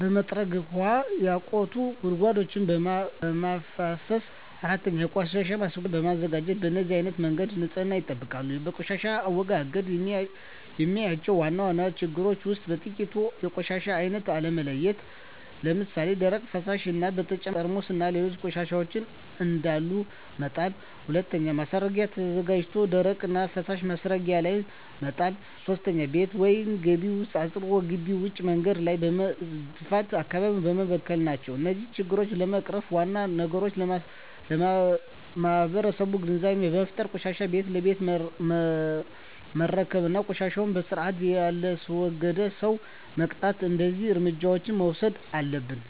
በመጥረግ 3. ውሀ ያቋቱ ጉድጓዶችን በማፋሠስ 4. የቆሻሻ ማስረጊያ በማዘጋጀት በነዚህ አይነት መንገድ ንፅህናቸውን ይጠብቃሉ። በቆሻሻ አወጋገድ የማያቸው ዋና ዋና ችግሮች ውስጥ በጥቂቱ 1. የቆሻሻ አይነት አለመለየት ለምሣሌ፦ ደረቅ፣ ፈሣሽ እና በተጨማሪ ጠርሙስና ሌሎች ቆሻሻዎችን አንድላይ መጣል። 2. ማስረጊያ ተዘጋጅቶ ደረቅና ፈሣሽ ማስረጊያው ላይ መጣል። 3. ቤት ወይም ግቢ አፅድቶ ግቢ ውጭ መንገድ ላይ በመድፋት አካባቢውን መበከል ናቸው። እነዚህን ችግሮች ለመቅረፍ ዋናው ነገር ለማህበረሠቡ ግንዛቤ መፍጠር፤ ቆሻሻን ቤት ለቤት መረከብ እና ቆሻሻን በስርአት የላስወገደን ሠው መቅጣት። እደዚህ እርምጃዎች መውሠድ አለብን።